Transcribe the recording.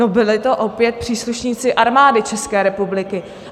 No byli to opět příslušníci Armády České republiky.